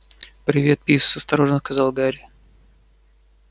привет пивз осторожно сказал гарри